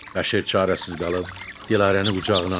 Bəşir çarəsiz qalıb Dilarəni qucağına aldı.